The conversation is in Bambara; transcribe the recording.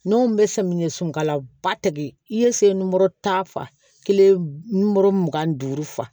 N'o bɛ samiyɛsunkala ba tɛ kɛ i ye se n mɔri ta fa i ye nukɔrɔ mugan ni duuru fa